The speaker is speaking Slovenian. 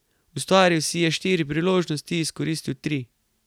Ustvaril si je štiri priložnosti, izkoristil tri.